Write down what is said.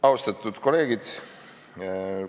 Austatud kolleegid!